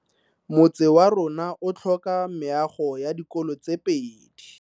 Motse warona o tlhoka meago ya dikolo tse pedi.